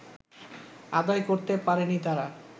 আদায় করতে পারেনি তারা